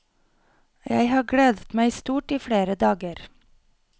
Jeg har gledet meg stort i flere dager.